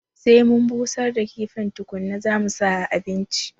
Sai mun busar da kifin tukuna zamu sa a abinci